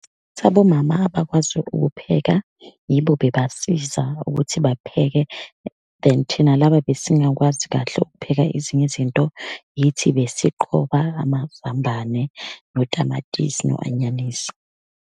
Abomama abakwazi ukupheka yibo bebasiza ukuthi bapheke then, thina laba besingakwazi kahle ukupheka ezinye izinto, yithi besiqoba amazambane, notamatisi no anyanisi.